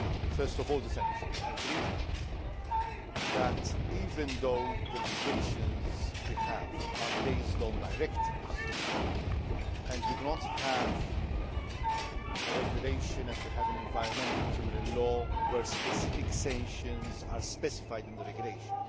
First of all the sanctions I agree that even though the legislation we have is based on directives and we do not have a regulation as we have in environmental criminal law where specific sanctions are specified in the regulation